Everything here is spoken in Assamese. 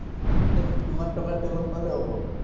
ওহ, কিমান টকাৰ তেল সোমালে হ’ব?